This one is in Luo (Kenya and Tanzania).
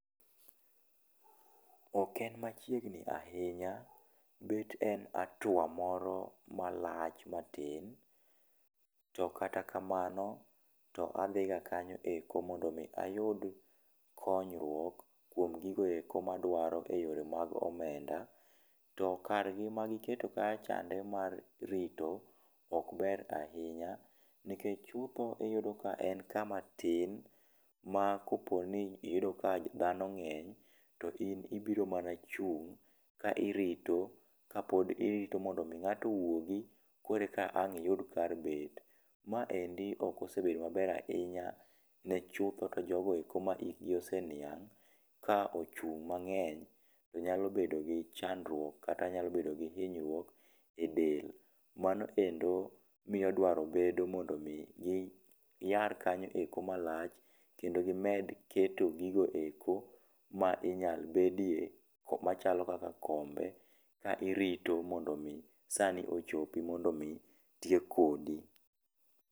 Ok en machiegni ahinya. Bet en hatua moro malach matin. To katakamano to adhi ga kanyo eko mondo mi ayudi konyruok kuom gigoeko maduaro eyore mag omenda. To kargi magiketo kachande mar rito ok ber ahinya nikech chutho iyudo ka en kamatin ma koponi iyudo ka dhano ng'eny to in ibiro mana chung' ka irito ka pod irito mondo mi ng'ato owuogi koro eka ang' iyud kar bet. Ma endi ok osebedo maber ahinya ne chutho to jogo eko ma it gi oseniang'. Ka ochung' ma ng'eny to nyalo bedo gi chandruok kata nyalo bedo gi hinyruok e del. Mano endo miyo drawo bedo mondo mi iyar kanyo eko malach kendo gimed keto gigo eko ma inyalbedie machalo kaka kombe ka irito mondo omi sa ni ochopi mondomi tiek kodi.